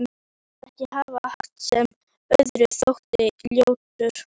Ég vildi ekki hafa hatt sem öðrum þótti ljótur.